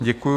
Děkuji.